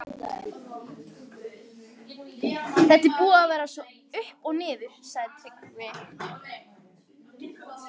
Þetta er búið að vera upp og niður, sagði Tryggvi.